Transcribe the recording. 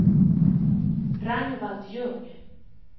Ragnvald Ljung